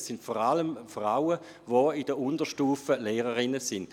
Es sind vor allem Frauen, die in der Unterstufe als Lehrerinnen tätig sind.